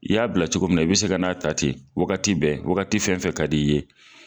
I y'a bila cogo mina i bɛ se ka n'a ta ten wagati bɛn wagati fɛn fɛn ka di' i ye.